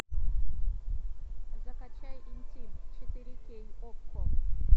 закачай интим четыре кей окко